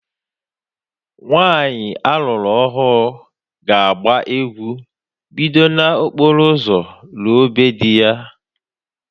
Nwanyị a lụrụ ọhụụ ga agba egwu bido na okporo ụzọ ruo be dị ya